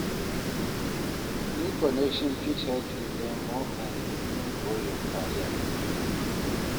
New connections fit help you learn more and even grow your career.